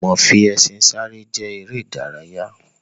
Ìmọ fi ẹṣin sáré jẹ́ ère ìdárayá.